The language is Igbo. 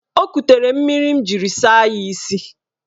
O ekutere mmiri m jiri saa ya isi.